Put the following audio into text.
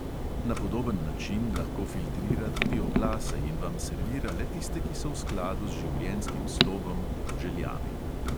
Na podoben način lahko filtrira tudi oglase in vam servira le tiste, ki so v skladu z življenjskim slogom, željami ...